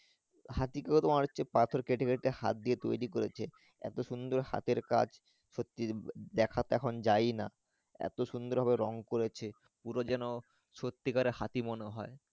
হাতি গুলো তোমার হচ্ছে পাথর দিয়ে কেটে কেটে হাত দিয়ে তৌরি করেছে এত সুন্দর হাতের কাজ সত্যি দেখা তো এখন যাই না এত সুন্দর ভাবে রং করেছে পুরো যেন সত্যিকারের হাতি মনে হয়।